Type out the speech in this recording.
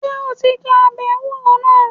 Ṣé o ti jẹ́ ọbẹ̀ ewúro náà?